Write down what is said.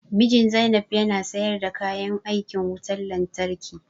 Mijin Zainab ya na sayar da kayan aikin wutan lantarki